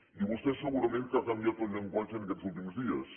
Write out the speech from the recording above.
i vostè segurament que ha canviat el llenguatge aquests últims dies